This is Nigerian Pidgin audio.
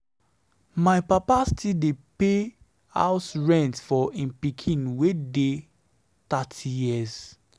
My papa still dey pay house rent for im pikin wey dey thirty years.